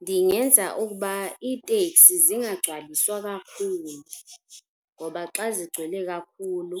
Ndingenza ukuba iitekisi zingagcwaliswa kakhulu ngoba xa zigcwele kakhulu